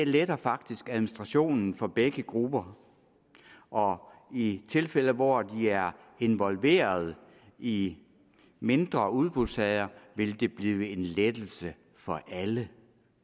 letter faktisk administrationen for begge grupper og i de tilfælde hvor de er involverede i mindre udbudssager vil det blive en lettelse for alle